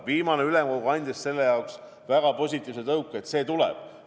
Viimane ülemkogu andis väga positiivse tõuke, et see tuleb.